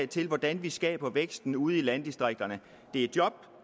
til hvordan vi skaber væksten ude i landdistrikterne det er job